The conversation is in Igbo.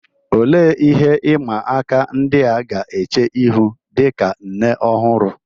Olee ihe ịma aka ndị a ga-eche ihu dị ka nne ọhụrụ?